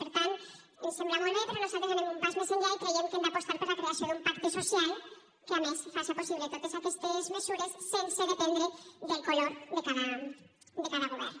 per tant ens sembla molt bé però nosaltres anem un pas més enllà i creiem que hem d’apostar per la creació d’un pacte social que a més faci possible totes aquestes mesures sense dependre del color de cada govern